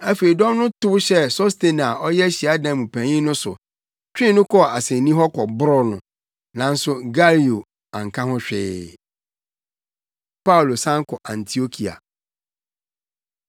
Afei dɔm no tow hyɛɛ Sostene a ɔyɛ hyiadan mu panyin no so, twee no kɔɔ asennii hɔ kɔbroo no, nanso Galio anka ho hwee. Paulo San Kɔ Antiokia